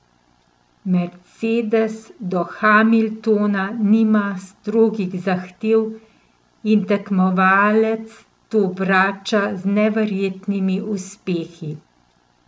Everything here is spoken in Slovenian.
Mercedes do Hamiltona nima strogih zahtev in tekmovalec to vrača z neverjetnimi uspehi.